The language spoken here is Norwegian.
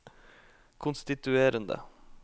konstituerende